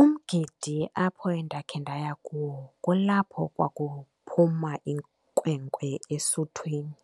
Umgidi apho endakhe ndaya kuwo kulapho kwakuphuma inkwenkwe esuthwini.